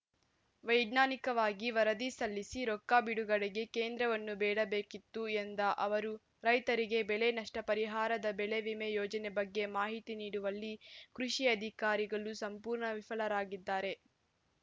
ವೈಜ್ಞಾನಿಕವಾಗಿ ವರದಿ ಸಲ್ಲಿಸಿ ರೊಕ್ಕ ಬಿಡುಗಡೆಗೆ ಕೇಂದ್ರವನ್ನು ಬೇಡಬೇಕಿತ್ತು ಎಂದ ಅವರು ರೈತರಿಗೆ ಬೆಳೆ ನಷ್ಟಪರಿಹಾರದ ಬೆಳೆವಿಮೆ ಯೋಜನೆ ಬಗ್ಗೆ ಮಾಹಿತಿ ನೀಡುವಲ್ಲಿ ಕೃಷಿ ಅಧಿಕಾರಿಗಳು ಸಂಪೂರ್ಣ ವಿಫಲರಾಗಿದ್ದಾರೆ